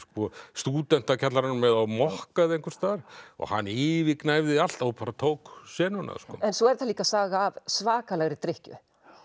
Stúdentakjallaranum eða á mokka eða einhvers staðar og hann yfirgnæfði allt og bara tók senuna svo er þetta líka saga af svakalegri drykkju